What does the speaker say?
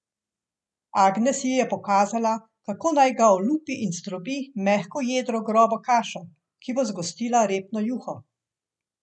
Agnes ji je pokazala, kako naj ga olupi in zdrobi mehko jedro v grobo kašo, ki bo zgostila repno juho.